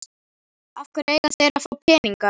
Af hverju eiga þeir að fá peninga?